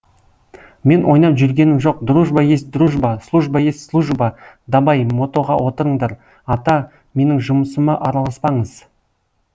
мен ойнап жүргенім жоқ дружба есть дружба служба есть служба дабай мотоға отырыңдар ата менің жұмысыма араласпаңыз